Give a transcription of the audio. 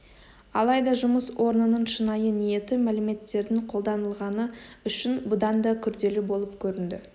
алайда жұмыс орнының шынайы ниеті мәліметтердің қолданылғаны үшін бұдан да күрделі болып көрінді